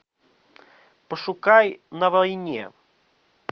пошукай на войне